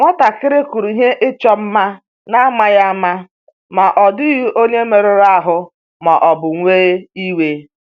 Nwatakịrị kụrụ ihe ịchọ mma n'amaghị ama, ma ọ dịghị onye merụrụ ahụ ma ọ bụ wee iwe